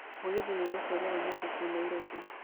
mũgithi nĩ ũgũcererwo ũmũthĩ kũu nairobi